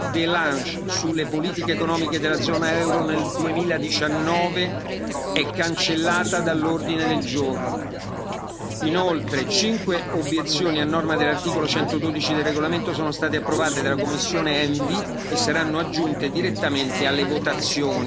De Lange sulle politiche economiche della zona euro nel 2019 è cancellata dall'ordine del giorno. Inoltre, cinque obiezioni a norma dell'articolo 112 del regolamento sono state approvate dalla commissione ENVI e saranno aggiunte direttamente alle votazioni